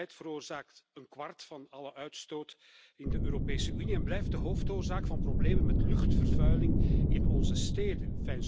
Mobiliteit veroorzaakt een kwart van alle uitstoot in de Europese Unie en blijft de hoofdoorzaak van problemen met luchtvervuiling in onze steden.